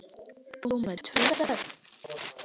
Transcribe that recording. Þú með tvö börn!